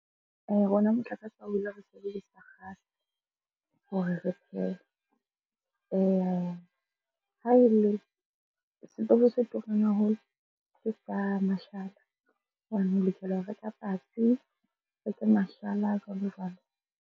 Rona motlakase ha o wele re sebedisa kgase hore re phehe. Ha e le, setofo se turang haholo ke sa mashala ona hobane o lokela ho reka patsi mashala jwalo-jwalo.